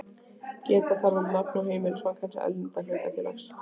Geta þarf um nafn og heimilisfang hins erlenda hlutafélags.